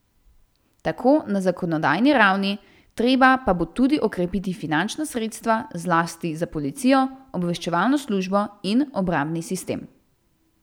Tako na zakonodajni ravni, treba pa bo tudi okrepiti finančna sredstva zlasti za policijo, obveščevalno službo in obrambni sistem.